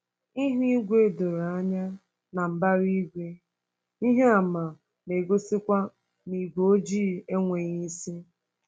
Ihu igwe doro anya, na mbara igwe, ihe àmà na-egosikwa na ígwé ojii enweghị isi.